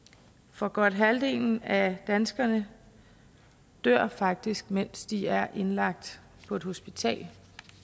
for godt halvdelen af danskerne dør faktisk mens de er indlagt på et hospital